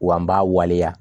Wa n b'a waleya